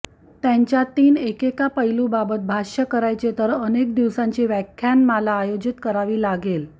त्यांच्यातीन एकेका पैलूबाबत भाष्य करायचे तर अनेक दिवसांची व्याख्यानमाला आयोजित करावी लागेल